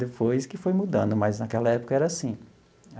depois que foi mudando, mas naquela época era assim.